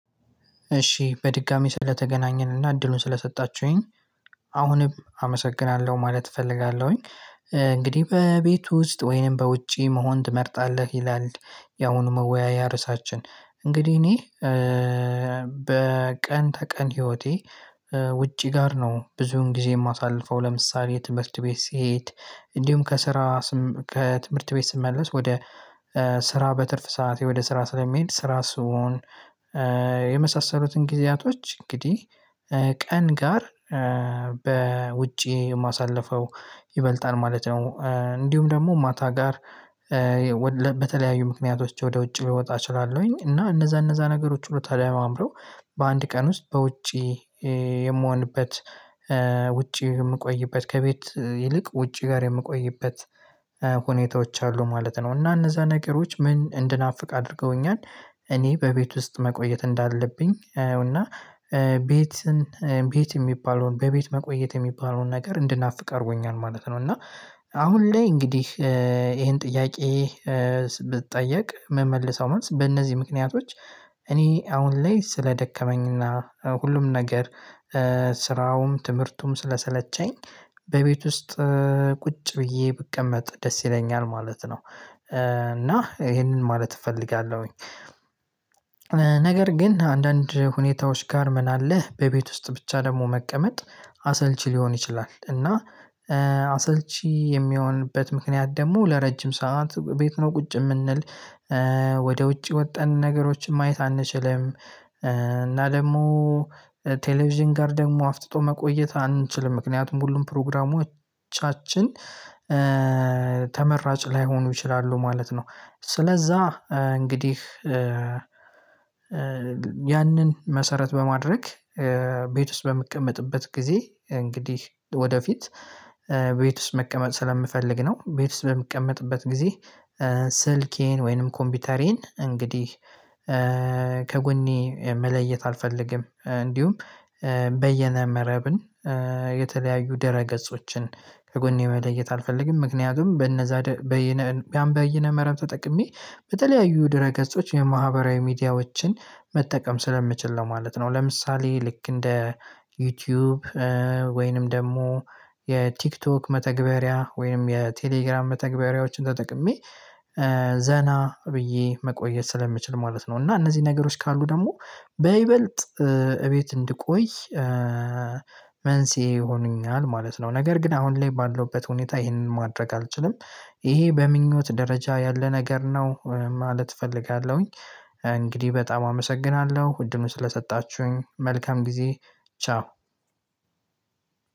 እሺ በድጋሚ ስለተገናኘንና እድሉን ስለሰጣችሁኝ አሁንም አመሰግናለሁ ማለት እፈልጋለሁኝ። እንግዲህ በቤቱ ውስጥ ወይንም በውጪ መሆን ትመርጣለህ ይላል? ያሁኑ መወያያ ርዕሳችን እንግዲህ እኔ በቀን ተቀን ህይወቴ ውጪ ጋር ነው ብዙውን ጊዜ የማሳልፈው ለምሳሌ ትምህርት ቤት ስሄድ እንዲሁም ከስራ ከትምህርት ቤት ስመለስ ወደ ስራ በትርፍ ሰዓት ወደ ስራ ስለሚሄድ ስራ ስሆን የመሳሰሉትን ጊዜያቶች እንግዲህ ቀን ጋር በውጪ የማሳልፈው ይበልጣል ማለት ነው። እንዲሁም ደግሞ ማታ ጋር በተለያዩ ምክንያቶች ወደ ውጭ ልወጣ እችላለሁኝ እና እነዛ እነዛ ነገሮች ሁሉ ተደማምረው በአንድ ቀን ውስጥ በውጪ የምሆንበት ውጪ የምቆይበት ከቤት ይልቅ ውጪ ጋር የምቆይበት ሁኔታዎች አሉ ማለት ነው። እና እነዛ ነገሮች ምን እንድናፍቅ አድርገውኛል እኔ በቤት ውስጥ መቆየት እንዳለብኝ እና ቤትን ቤት የሚባለውን በቤት መቆየት የሚባለውን ነገር እንድናፍቅ አድርጎኛል ማለት ነው። እና አሁን ላይ እንግዲህ ይሄን ጥያቄ ብጠየቅ የምመልሰው ማለት በእነዚህ ምክንያቶች እኔ አሁን ላይ ስለደከመኝና ሁሉም ነገር ስራውም ትምህርቱም ስለሰለቸኝ በቤት ውስጥ ቁጭ ብዬ ብቀመጥ ደስ ይለኛል ማለት ነው። እና ይሄንን ማለት እፈልጋለሁኝ ነገር ግን አንዳንድ ሁኔታዎች ጋር ምን አለ በቤት ውስጥ ብቻ ደግሞ መቀመጥ አሰልቺ ሊሆን ይችላል። እና አሰልቺ የሚሆንበት ምክንያት ደግሞ ለረጅም ሰዓት ቤት ነው ቁጭ የምንል ወደ ውጪ ወጣን ነገሮችን ማየት አንችልም። እና ደግሞ ቴሌቪዥን ጋር ደግሞ አፍጥጦ መቆየት አንችልም ምክንያቱም ሁሉም ፕሮግራሞቻችን ተመራጭ ላይሆኑ ይችላሉ ማለት ነው። ስለዛ እንግዲህ ያንን መሰረት በማድረግ ቤት ውስጥ በምቀመጥበት ጊዜ እንግዲህ ወደፊት ቤት ውስጥ መቀመጥ ስለምፈልግ ነው። ቤት ውስጥ በምቀመጥበት ጊዜ ስልኬን ወይንም ኮምፒውተሬን እንግዲህ ከጎኔ መለየት አልፈልግም። እንዲሁም በየነ መረብን የተለያዩ ድረ ገጾችን ከጎኔ መለየት አልፈልግም። ምክንያቱም በነዛ ያን በየነ መረብ ተጠቅሜ በተለያዩ ድረ ገጾች የማህበራዊ ሚዲያዎችን መጠቀም ስለምችል ነው ማለት ነው። ለምሳሌ ልክ እንደ ዩቲዩብ ወይንም ደግሞ የቲክቶክ መተግበሪያ ወይም የቴሌግራም መተግበሪያዎችን ተጠቅሜ ዘና ብዬ መቆየት ስለምችል ማለት ነው። እና እነዚህ ነገሮች ካሉ ደግሞ በይበልጥ እቤት እንድቆይ መንስኤ ይሆኑኛል ማለት ነው። ነገር ግን አሁን ላይ ባለውበት ሁኔታ ይሄንን ማድረግ አልችልም። ይሄ በምኞት ደረጃ ያለ ነገር ነው ማለት እፈልጋለሁኝ። እንግዲህ በጣም አመሰግናለሁ አድሉን ስለሰጣችሁኝ መልካም ጊዜ ቻው።